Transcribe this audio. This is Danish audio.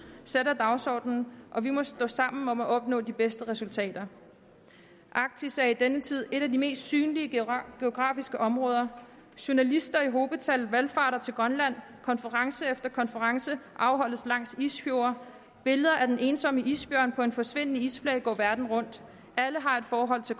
sætter dagsordenen og vi må stå sammen om at opnå de bedste resultater arktis er i denne tid et af de mest synlige geografiske områder journalister i hobetal valfarter til grønland konference efter konference afholdes langs isfjorde billeder af den ensomme isbjørn på en forsvindende isflage går verden rundt alle har et forhold til